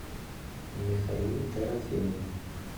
михаил дорофеев